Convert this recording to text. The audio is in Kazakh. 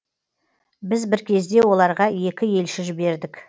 біз бір кезде оларға екі елші жібердік